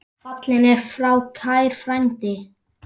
Fallinn er frá kær frændi.